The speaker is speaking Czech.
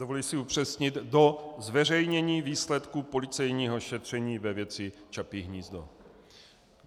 Dovoluji si upřesnit: Do zveřejnění výsledku policejního šetření ve věci Čapí hnízdo.